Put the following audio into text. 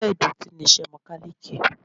Iṣẹ́ ìdọ̀tí ni iṣẹ́ Mẹ́kálíkì.